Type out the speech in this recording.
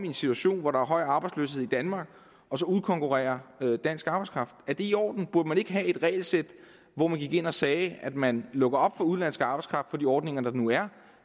en situation hvor der er høj arbejdsløshed i danmark og så udkonkurrere dansk arbejdskraft er det i orden burde man ikke have et regelsæt hvor man gik ind og sagde at man lukker op for udenlandsk arbejdskraft efter de ordninger der nu er